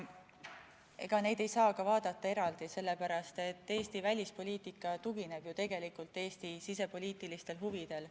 Ega neid ei saagi vaadata eraldi, sellepärast et Eesti välispoliitika tugineb ju tegelikult Eesti sisepoliitilistele huvidele.